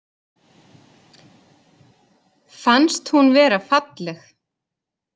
Fannst hún vera falleg